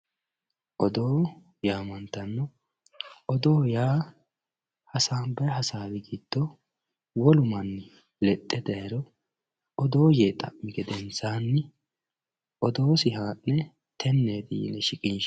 Oddo yaamantanno oddo yaa hasanbbayyi haasawi giddo wollu manni leexe daayiro oddo yee xa'mi geedensanni oddosi haane tenetti yinne shiqinshanni